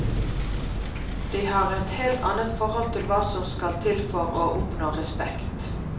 De har et helt annet forhold til hva som skal til for å oppnå respekt.